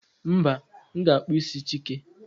mba, m ga-akpụ isi chike